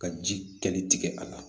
Ka ji kɛli tigɛ a la